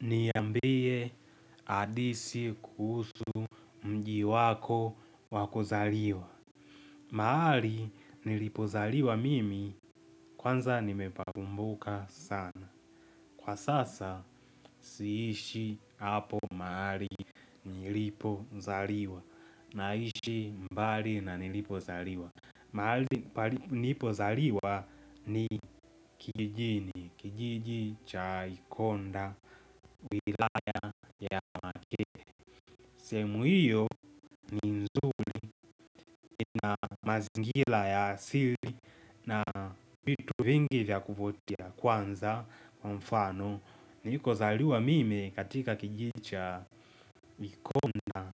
Niambie hadithi kuhusu mji wako wakuzaliwa. Mahali nilipozaliwa mimi kwanza nimepakumbuka sana. Kwa sasa siishi hapo mahali nilipozaliwa naishi mbali na nilipozaliwa. Mahali nilipozaliwa ni kijijini, kijiji cha ikonda, wilaya ya sehemu hiyo, mazingira ya asili na vitu vingi vya kuvutia kwanza kwa mfano. Nilikozaliwa mimi katika kijiji cha Mikona